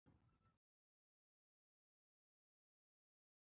En hvenær á svo að hefjast handa?